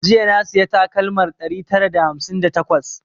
Jiya na sayi takalmar ɗari tara da hamsin da takwas